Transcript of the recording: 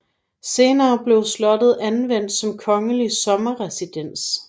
Senere blev slottet anvendt som kongelig sommerresidens